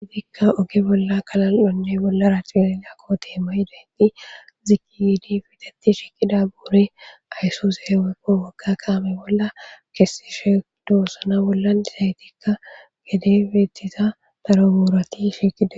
hitikka oge bolla kala7one bolla raxipilnya ko teema yidenti ziqiydi fitetti shiqida buure ayso zee wepqo waka kaame bolla kessishe doossana bollan disaytikka gede beettiza daro guurati shiqida